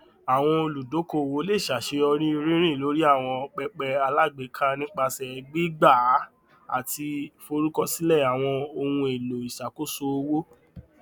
àwọn olùdókòwò le ṣàṣeyọrí rírìn lórí àwọn pẹpẹ alágbèéká nípasẹ gbígbàá àti forúkọsílẹ àwọn ohun èlò ìṣàkóso owó